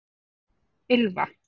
Ylfa